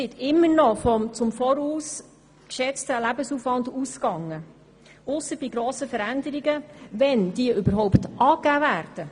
Es wird immer noch vom im Voraus geschätzten Lebensaufwand ausgegangen, ausser bei grossen Veränderungen, wenn diese überhaupt angegeben werden.